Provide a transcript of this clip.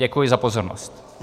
Děkuji za pozornost.